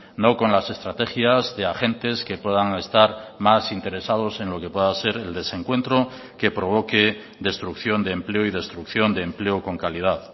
no con las estrategias de agentes que puedan estar más interesados en lo que pueda ser el desencuentro que provoque destrucción de empleo y destrucción de empleo con calidad